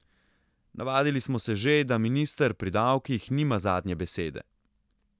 Navadili smo se že, da minister pri davkih nima zadnje besede.